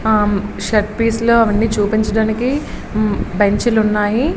Shirt piece లో అవన్నీ చూపించడానికి బెంచీలు ఉన్నాయి.